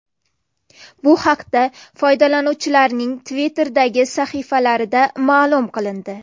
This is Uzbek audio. Bu haqda foydalanuvchilarning Twitter’dagi sahifalarida ma’lum qilindi .